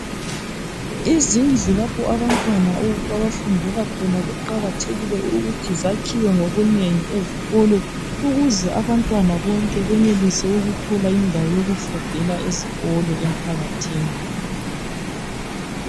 Izindlu lapho abantwana abafundela khona kuqakathekile ukuthi zakhiwe ngobunengi ezikolo ukuze abantwana bonke benelise ukuthola indawo yokufundela ezikolo emphakathini.